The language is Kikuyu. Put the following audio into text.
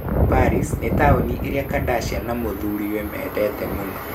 Paris nĩ taũni ĩrĩa Kardashian na mũthuriwe mendete mũno.